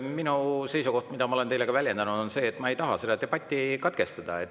Minu seisukoht, mida ma olen teile ka väljendanud, on see, et ma ei taha debatti katkestada.